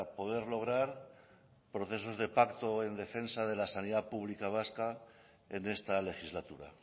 poder lograr procesos de pacto en defensa de la sanidad pública vasca en esta legislatura